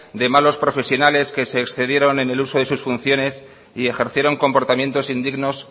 de malos profesionales que se excedieron en el uso de sus funciones y ejercieron comportamientos indignos